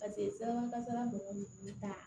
Paseke sirabakan kasara mɔgɔw de kun t'a